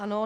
Ano.